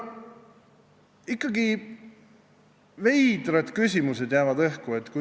Ikkagi jäävad veidrad küsimused õhku.